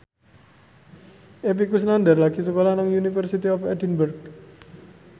Epy Kusnandar lagi sekolah nang University of Edinburgh